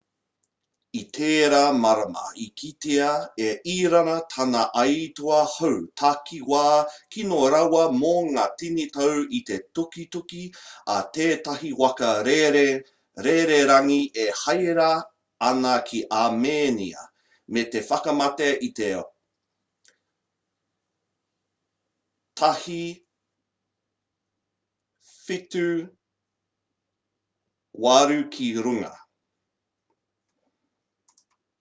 i tērā marama i kitea e irāna tana aituā hau takiwā kino rawa mō ngā tini tau i te tukituki a tētahi waka rererangi e haere ana ki amēnia me te whakamate i te 168 ki runga